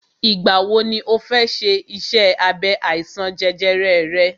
Ìgbà wọ ni ọ fẹ ṣe iṣẹ́ abẹ àìsàn jẹjẹrẹ rẹ?